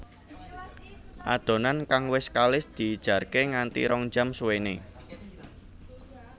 Adonan kang wis kalis dijarke nganti rong jam suwéné